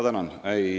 Tänan!